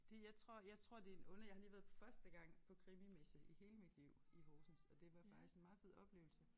Det jeg tror jeg tror det en under jeg har lige været på første gang på krimimesse i hele mit liv i Horsens og det var faktisk en meget fed oplevelse